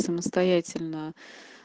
самостоятельно